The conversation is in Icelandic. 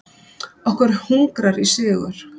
Okkur hungrar í sigur.